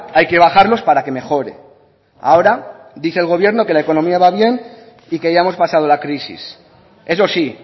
hay que bajarlos para que mejore ahora dice el gobierno que la economía va bien y que ya hemos pasado la crisis eso sí